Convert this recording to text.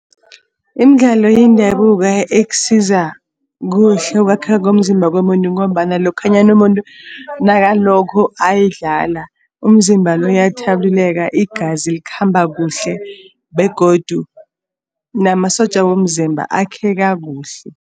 Imidlalo yendabuko ekusiza kuhle ukwakheka komzimba komuntu ngombana lokhanyana umuntu nakalokho ayidlala umzimba lo uyathabuleka, igazi likhamba kuhle begodu namasotja womzimba akheka kuhle.